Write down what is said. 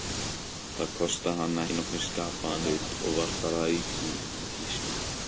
Það kostaði hana ekki nokkurn skapaðan hlut, og var þar að auki í tísku.